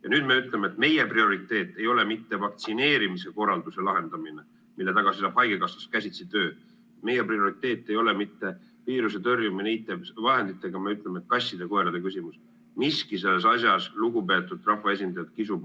Ja nüüd me ütleme, et meie prioriteet ei ole mitte vaktsineerimise korralduse lahendamine, mille taga seisab käsitsitöö haigekassas, meie prioriteet ei ole mitte viiruse tõrjumine IT-vahenditega, vaid me ütleme, et kasside-koerte küsimus.